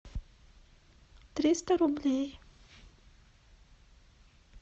триста рублей